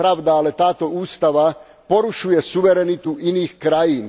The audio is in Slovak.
To je pravda, ale táto ústava porušuje suverenitu iných krajín.